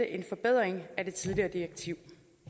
en forbedring af det tidligere direktiv